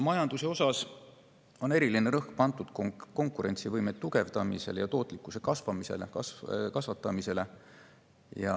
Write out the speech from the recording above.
Majanduses on eriline rõhk pandud konkurentsivõime tugevdamisele ja tootlikkuse kasvatamisele.